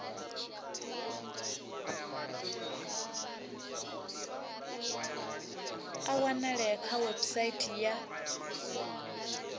a wanalea kha website ya